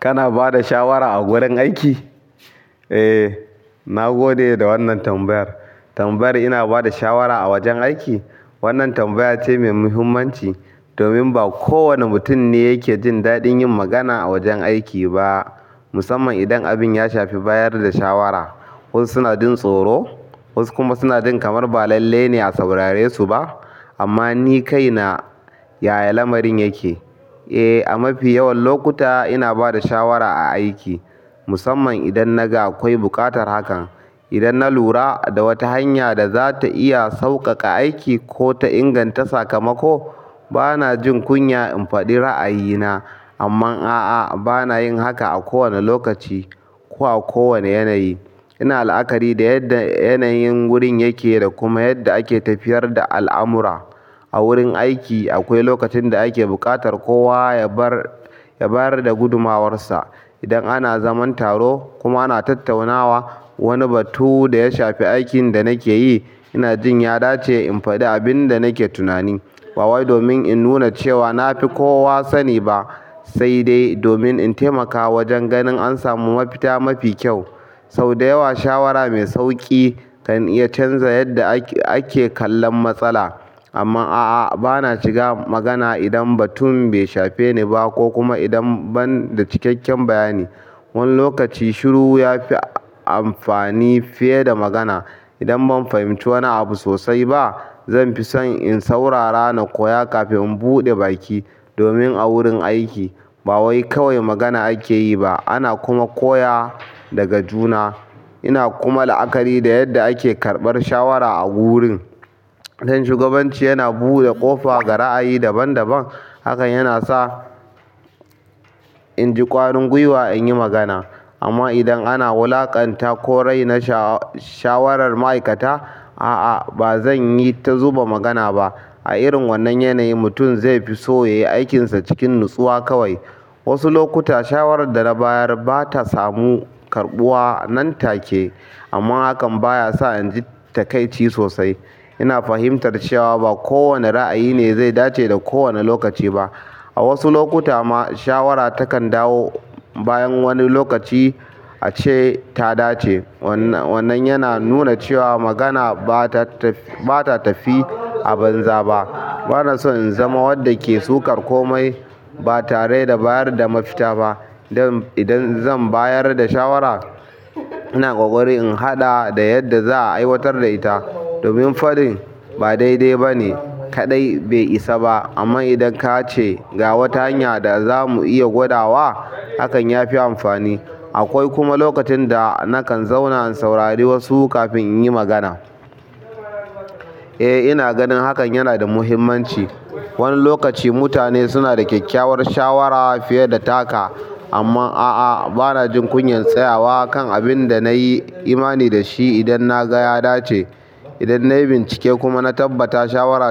Kana ba da shawara a gurin aiki? Eh, na gode da wannan tambayar. Tambayar "ina ba da shawara a wajen aiki?" wannan tambaya ce mai muhimmanci domin ba kowane mutum ne yake jin daɗin yin magana a wajen aiki ba, musamman idan abin ya shafi bayar da shawara. Wasu suna jin tsoro, wasu kuma suna jin kamar ba lalle ne a saurare su ba. Amma ni kaina, ya lamarin yake. Eh, a mafi yawan lokuta ina ba da shawara a aiki, musamman idan naga akwai buƙatar hakan. Idan na lura da wata hanya da za ta iya sauƙaƙa aiki ko ta inganta sakamako, bana jin kunya in faɗi ra'ayina. Amman a'a, bana yin haka a kowane lokaci ko a kowane yanayi. Ina la'akari da yadda yanayin wurin yake da kuma yadda ake tafiyar da al'amura. A wurin aiki akwai lokacin da ake buƙatar kowa ya bar, ya bayar da gudumawarsa. Idan ana zaman taro kuma ana tattaunawa wani batu da ya shafi aikin da nake yi, ina jin ya dace in faɗi abin da nake tunani. Ba wai domin in nuna cewa na fi kowa sani ba, sai dai domin in taimaka wajen ganin an samu mafita mafi kyau. Sau da yawa shawara mai sauƙi kan iya canza yadda ake kallon matsala. Amma a'a, bana shiga magana idan batun bai shafi ni ba ko kuma idan ban da cikakken bayani. Wani lokaci shiru ya fi amfani fiye da magana. Idan ban fahimci wani abu sosai ba, zan fi son in saurara na koya kafin in buɗe baki. Domin a wurin aiki ba wai kawai magana ake yi ba, ana kuma koya daga juna. Ina kuma la'akari da yadda ake karɓar shawara a wurin. Idan shugabanci yana buɗe ƙofa ga ra'ayi daban-daban, hakan yana sa in ji ƙwarin gwiwa in yi magana. Amma idan ana wulaƙanta koray na sha-shawarar ma'aikata, a'a ba zan yi ta zuba magana ba. A irin wannan yanayi mutum zai fi so ya yi aikinsa cikin natsuwa kawai. Wasu lokuta shawarar da na bayar ba ta samu karɓuwa nan take, amma hakan baya sa in ji taƙaici sosai. Ina fahimtar cewa ba kowane ra'ayi ne zai dace da kowane lokaci ba. A wasu lokuta ma shawara takan dawo bayan wani lokaci ace ta dace. Wannan yana nuna cewa magana ba ta, ta tafi aban zaɓa. Bana son in zama wanda ke sukar komai ba tare da bayar da mafita ba. Dan idan zan bayar da shawara, ina ƙoƙari in haɗa da yadda za a aiwatar da ita. Domin faɗin ba daidai ba ne kaɗai bai isa ba, amma idan ka ce "Ga wata hanya da za mu iya gwada wa", hakan ya fi amfani. Akwai kuma lokacin da nakan zauna in saurari wasu kafin in yi magana. Eh, ina ganin hakan yana da muhimmanci. Wani lokaci mutane sunada kyakkyawan shawara fiye da taka. Amma a'a, bana jin kunyan tsayawa kan abin da na yi imani da shi idan na ga ya dace. Idan nayi bincike kuma na tabbata shawara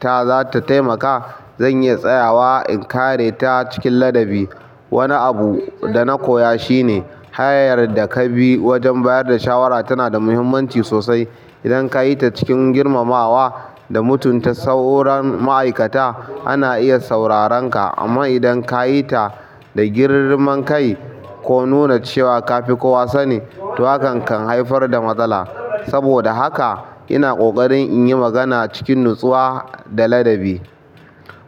ta za ta taimaka, zan yi tsayawa in kare ta cikin ladabi. Wani abu da na koya shine hanyar da ka bi wajen bayar da shawara tana da muhimmanci sosai. Idan ka yi ta cikin girmamawa da mutunta sauran ma'aikata, ana iya saurarenka. Amma idan ka yi ta da girman kai ko nuna cewa ka fi kowa sani, to hakan kan haifar da matsala. Saboda haka ina ƙoƙarin in yi magana cikin natsuwa da ladabi.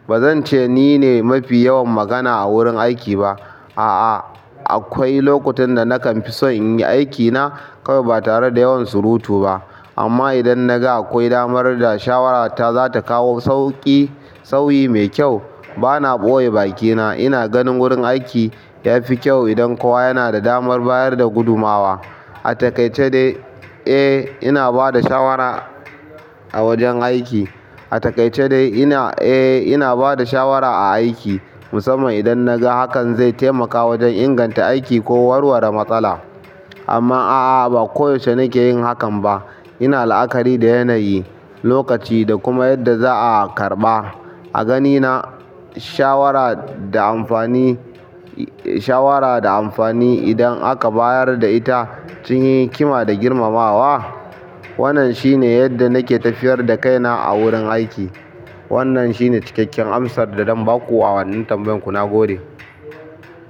Ba zan ce ni ne mafi yawan magana a wurin aiki ba. A'a, akwai lokutan da nakan fi son in yi aikina kawai ba tare da yawan surutu ba. Amma idan naga akwai damar da shawarata za ta kawo sauƙi, sauyi mai kyau, bana ɓoye bakina. Ina ganin wurin aiki ya fi kyau idan kowa yana da damar bayar da gudumawa. A taƙaice dai, eh ina ba da shawara a wajen aiki. A taƙaice dai ina, eh ina ba da shawara a aiki musamman idan naga hakan zai taimaka wajen inganta aiki ko warware matsala. Amma a'a, ba koyaushe nake yin hakan ba. Ina la'akari da yanayi, lokaci da kuma yadda za'a karɓa. A ganina shawara da amfani, shawara da amfani idan aka bayar da ita cikin hikima da girmamawa. Wannan shine yadda nake tafiyar da kaina a wurin aiki. Wannan shine cikakken amsar da zan ba ku a wannan tambayan ku nagode.